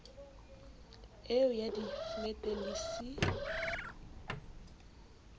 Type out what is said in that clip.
eo ya diflete le c